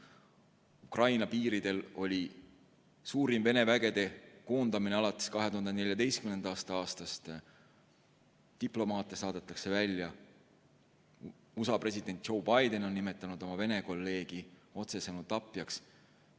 Ukraina piiridel oli suurim Vene vägede koondamine alates 2014. aastast, diplomaate saadetakse välja, USA president Joe Biden on nimetanud oma Vene kolleegi otsesõnu tapjaks.